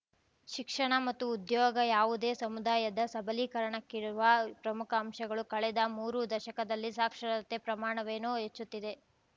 ಶಿಕ್ಷಣ ಮತ್ತು ಉದ್ಯೋಗ ಯಾವುದೇ ಸಮುದಾಯದ ಸಬಲೀಕರಣಕ್ಕಿರುವ ಪ್ರಮುಖ ಅಂಶಗಳು ಕಳೆದ ಮೂರು ದಶಕದಲ್ಲಿ ಸಾಕ್ಷರತೆ ಪ್ರಮಾಣವೇನೋ ಹೆಚ್ಚುತ್ತಿದೆ